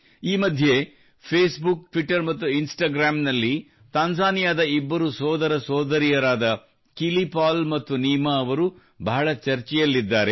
ಈ ಮಧ್ಯೆ Facebook Twitter ಮತ್ತು ಇನ್ಸ್ಟಾಗ್ರಾಂ ನಲ್ಲಿ ತಾಂಜಾನಿಯಾದ ಇಬ್ಬರು ಸೋದರ ಸೋದರಿಯರಾದ ಕಿಲಿ ಪಾಲ್ ಮತ್ತು ನೀಮಾ ಅವರು ಬಹಳ ಚರ್ಚೆಯಲ್ಲಿದ್ದಾರೆ